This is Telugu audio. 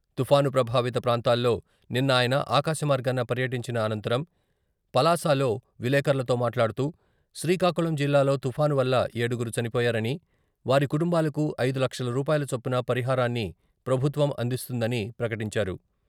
తుపాను ప్రభావిత ప్రాంతాల్లో నిన్న ఆయన ఆకాశమార్గాన పర్యటించిన అనంతరం పలాసలో విలేకర్లతో మాట్లాడుతూ, శ్రీకాకుళం జిల్లాలో తుఫాను వల్ల ఏడుగురు చనిపోయారని, వారి కుటుంబాలకు ఐదు లక్షల రూపాయల చొప్పున పరిహారాన్ని ప్రభుత్వం అందిస్తుందని ప్రకటించారు.